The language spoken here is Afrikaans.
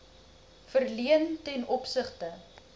verleen ten opsigte